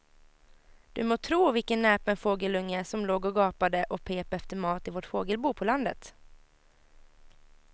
Du må tro vilken näpen fågelunge som låg och gapade och pep efter mat i vårt fågelbo på landet.